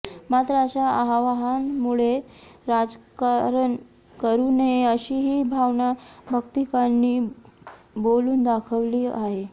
मात्र अशा आवाहनामुळे राजकारण करु नये अशीही भावना भक्तांनी बोलून दाखवली आहे